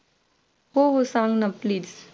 हो हो सांग ना please